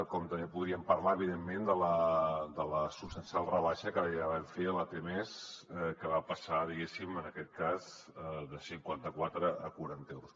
com també podríem parlar evidentment de la substancial rebaixa que ja vam fer a la t mes que va passar diguéssim en aquest cas de cinquanta quatre a quaranta euros